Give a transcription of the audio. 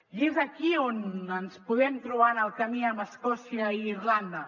i és aquí on ens podem trobar en el camí amb escòcia i irlanda